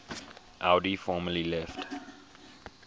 audi formally left